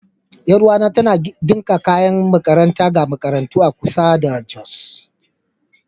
Yar uwata tana ɗinka kayan makaranta ga makarantu a kusa da Jos.